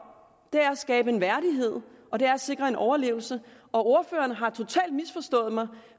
er at skabe en værdighed og det er at sikre en overlevelse ordføreren har totalt misforstået mig